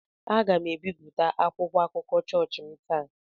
Aga m ebipụta akwụkwọ akụkọ chọọchị m taa.